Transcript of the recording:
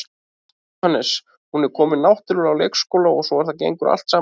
Jóhannes: Hún er komin náttúrulega á leikskóla og svona og það gengur allt saman vel?